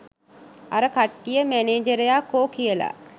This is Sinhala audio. අර කට්ටිය මැනේජරයා කෝ කියලා